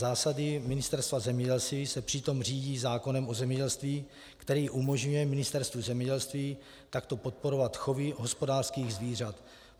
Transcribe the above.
Zásady Ministerstva zemědělství se přitom řídí zákonem o zemědělství, který umožňuje Ministerstvu zemědělství takto podporovat chovy hospodářských zvířat.